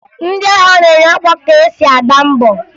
Ndị agha na-enye ọkwa ka e si gbaa mbọ